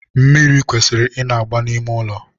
mmiri kwesịrị ị na-agba n'ime ụlọ.